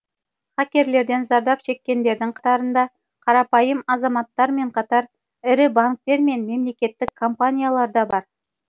хакерлерден зардап шеккендердің қатарында қарапайым азаматтармен қатар ірі банктер мен мемлекеттік компаниялар да бар